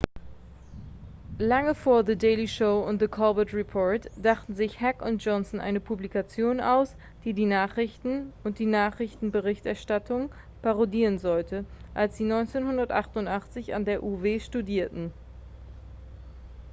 lange vor the daily show und the colbert report dachten sich heck und johnson eine publikation aus die die nachrichten und die nachrichtenberichterstattung parodieren sollte als sie 1988 an der uw studierten